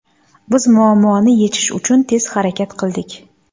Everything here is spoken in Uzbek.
Biz muammoni yechish uchun tez harakat qildik.